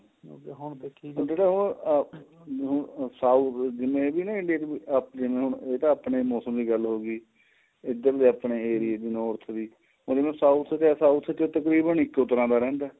ਹੁਣ ਜਿਹੜੇ ਉਹ ਅਹ ਉਹ ਤਾਂ ਆਪਨੇ ਮੋਸਮ ਦੀ ਗੱਲ ਹੋ ਗਈ ਉਧਰ ਆਪਣੇ ਏਰੀਏ ਦੀ north ਦੀ ਮਤਲਬ south ਤਾ south ਤਾਂ ਤਕਰੀਬਨ ਇੱਕੋ ਤਰ੍ਹਾਂ ਦਾ ਰਹਿੰਦਾ